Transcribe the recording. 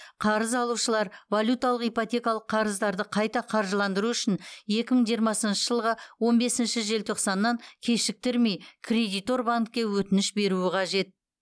қарыз алушылар валюталық ипотекалық қарыздарды қайта қаржыландыру үшін екі мың жиырмасыншы жылғы он бесінші желтоқсаннан кешіктірмей кредитор банкке өтініш беруі қажет